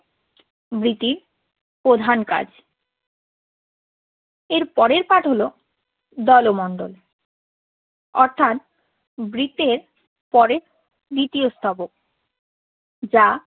বৃতির প্রধান কাজ। এরপরের পাঠ হলো দলমন্ডল অর্থাৎ বৃতের পরে তৃতীয় স্তবক। যা